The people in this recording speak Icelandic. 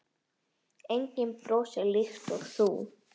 Enginn brosir líkt og þú.